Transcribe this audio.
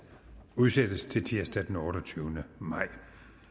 udsættes til tirsdag den otteogtyvende maj